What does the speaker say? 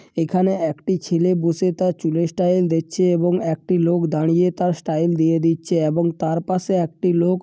এখানে একটি ছেলে বুসে তার চুলের স্টাইল দিচ্ছে এবং একটি লোক দাঁড়িয়ে তার স্টাইল দিয়ে দিচ্ছে এবং তার পাশে একটি লোক--